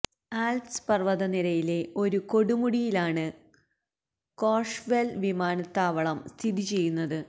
Alps പര്വ്വതനിരയിലെ ഒരു കൊടുമുടിയിലാണ് കോര്ഷ് വെല് വിമാനത്താവളം സ്ഥിതി ചെയ്യുന്നത്